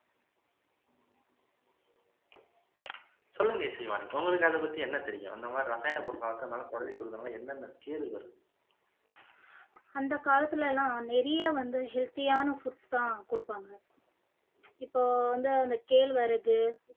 சொல்லுங்க இசைவாணி உங்களுக்கு அதை பத்தி என்ன தெரியும்